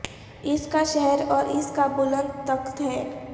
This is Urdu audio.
اس کا شہر اور اس کا بلند تخت ہے